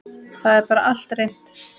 Það er bara allt reynt.